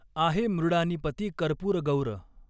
आहे मृडानीपती कर्पूरगौर।